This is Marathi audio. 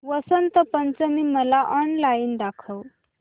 वसंत पंचमी मला ऑनलाइन दाखव